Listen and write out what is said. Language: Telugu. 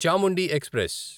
చాముండి ఎక్స్ప్రెస్